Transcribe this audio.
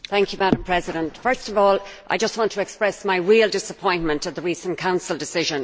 Madam President, first of all I want to express my real disappointment at the recent Council decision.